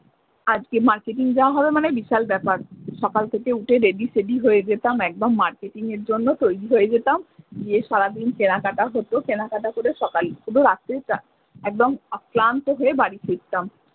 আজকে মার্কেটিং যাওয়া হবে মানে বিশাল ব্যাপার সকাল থেকে উঠে রেডি সেডি হয়ে যেতাম একদম মার্কেটিং এর জন্য তৈরি হয়ে যেতাম গিয়ে সারাদিন কেনাকাটা হতো কেনাকাটা করে সকালেই শুধু রাত্রি এ একদম ক্লান্ত হয়ে বাড়ি ফিরতাম।